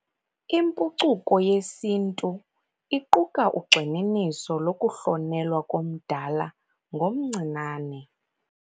Impucuko yesiNtu iquka ugxininiso lokuhlonelwa komdala ngomncinane.